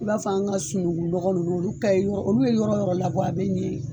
I b'a fɔ an ka sununkun nɔgɔ ninnu olu ka ɲi . Olu ye yɔrɔ yɔrɔ labɔ a bɛ ɲɛ yen